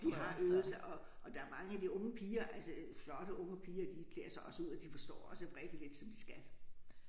De har øvet sig og og der er mange af de unge piger altså flotte unge piger de klæder sig også ud og de forstår også at vrikke lidt som de skal